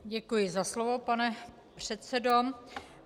Děkuji za slovo, pane předsedo.